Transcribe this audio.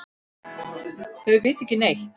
Þau vita ekki neitt.